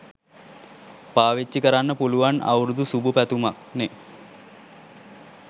පාවිච්චි කරන්න පුලුවන් අවුරුදු සුභ පැතුමක්නෙ.